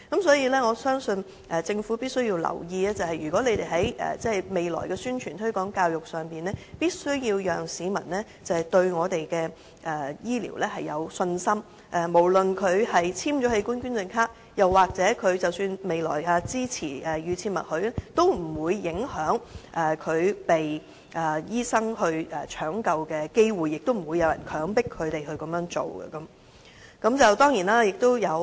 所以，我認為政府必須留意，未來的宣傳推廣教育必須讓市民對我們的醫療有信心，無論他有否簽署器官捐贈卡，或他是否支持預設默許機制，均不會影響他獲醫生搶救的機會，亦不會有人強迫他們捐贈器官。